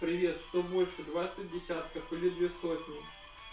привет что больше двадцать десятков или две сотни